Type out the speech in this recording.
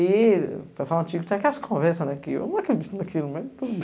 E o pessoal antigo tinha aquelas conversas naquilo, eu não acredito naquilo, mas tudo bem.